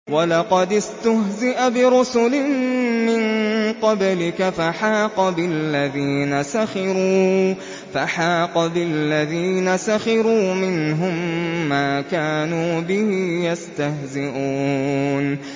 وَلَقَدِ اسْتُهْزِئَ بِرُسُلٍ مِّن قَبْلِكَ فَحَاقَ بِالَّذِينَ سَخِرُوا مِنْهُم مَّا كَانُوا بِهِ يَسْتَهْزِئُونَ